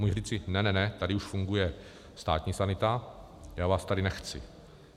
Může říci ne, ne, ne, tady už funguje státní sanita, já vás tady nechci!